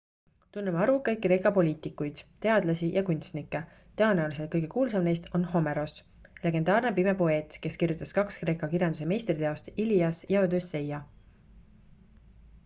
tunneme arvukaid kreeka poliitikuid teadlasi ja kunstnikke tõenäoliselt kõige kuulsam neist on homeros legendaarne pime poeet kes kirjutas kaks kreeka kirjanduse meistriteost ilias ja odüsseia